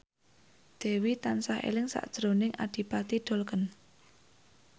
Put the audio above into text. Dewi tansah eling sakjroning Adipati Dolken